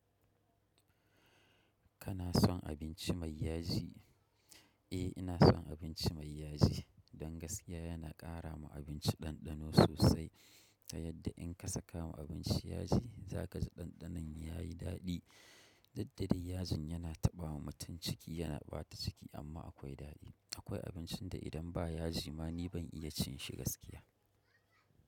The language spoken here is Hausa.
Kana son abinci mai yaji? Eh ina son abinci mai yaji. Don gaskiya yana ƙara ma abinci ɗanɗano sosai. Ta yadda in ka saka ma abinci yaji za ka ji ɗanɗanon yayi daɗi. Diddade yajin yana taɓa ma mutum ciki yana ɓata ciki amma akwai daɗi. Akwai abincin da idan ba yaji ma ni ban iya cin shi gaskiya.